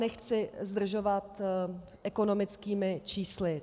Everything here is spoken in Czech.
Nechci zdržovat ekonomickými čísly.